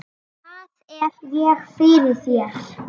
Hvað er ég fyrir þér?